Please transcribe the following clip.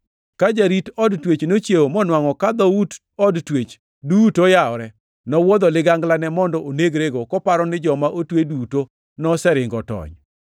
Ka jarit od twech nochiewo monwangʼo ka dhout od twech duto oyawore, nowuodho liganglane mondo onegrego, koparo ni joma otwe duto noseringo otony.